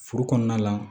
Furu kɔnɔna la